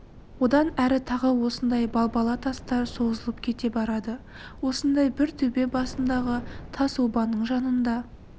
одан әрі тағы осындай балбала тастар созылып кете барады осындай бір төбе басындағы тас обаның жанында